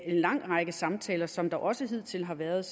lang række samtaler som der også hidtil har været